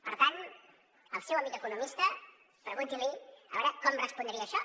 per tant al seu amic economista pregunti li a veure com respondria a això